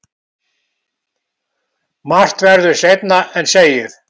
Margt verður seinna en segir.